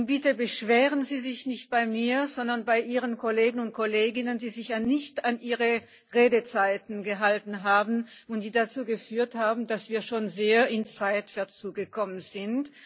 Bitte beschweren Sie sich nicht bei mir, sondern bei Ihren Kolleginnen und Kollegen, die sich nicht an ihre Redezeiten gehalten haben, was dazu geführt habt, dass wir schon sehr in Zeitverzug gekommen sind.